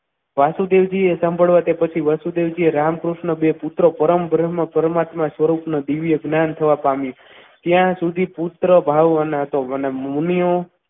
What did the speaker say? વાસુદેવજીએ તે સાંભળવા પછી વાસુદેવજીએ રામકૃષ્ણ બે પુત્રો પરમ બ્રહ્મ પરમાત્મા સ્વરૂપનું દિવ્ય જ્ઞાન થવા પામ્યું ત્યાં સુધી પુત્ર ભાવવાનો હતો. અને મુનિઓ